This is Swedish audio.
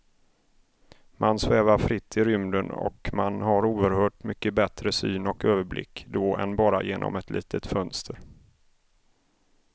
Man svävar fritt i rymden och man har oerhört mycket bättre syn och överblick då än bara genom ett litet fönster.